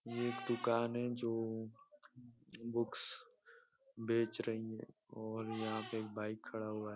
ये एक दुकान है जो बुक्स बेच रही हैं और यहाँ पे एक बाइक खड़ा हुआ --